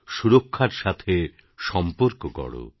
সুরক্ষার সাথে সম্পর্ক গড়ো